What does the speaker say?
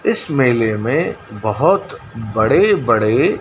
इस मेलेमें बहोत बड़े बड़े--